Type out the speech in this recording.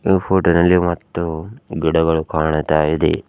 ದೂ ಫೋಟೋದಲ್ಲಿ ಮತ್ತು ಗಿಡಗಳು ಕಾಣ್ತಾ ಇದೆ.